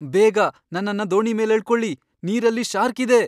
ಬೇಗ ನನ್ನನ್ನ ದೋಣಿ ಮೇಲ್ ಎಳ್ಕೊಳಿ, ನೀರಲ್ಲಿ ಶಾರ್ಕ್ ಇದೆ.